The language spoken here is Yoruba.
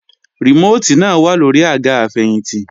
Rìmóòtì náà wà lóri àga àfẹ̀yìntì